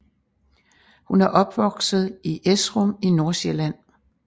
Hun er opvokset i Esrum i Nordsjælland